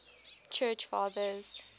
church fathers